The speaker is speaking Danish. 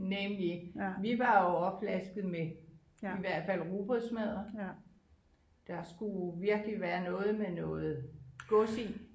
Nemlig vi var jo opflasket med i hvert fald rugbrødsmadder der skulle virkelig være noget med noget gods i